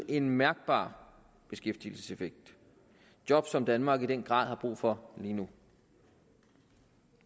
en mærkbar beskæftigelseseffekt job som danmark i den grad har brug for lige nu